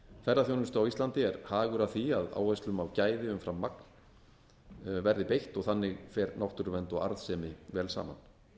ferðaþjónustu á íslandi er hagur af að áherslum á gæði umfram magn verði beitt og þannig fer náttúruvernd og arðsemi vel saman